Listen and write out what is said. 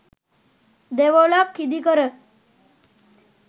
දෙවොලක් ඉදිකර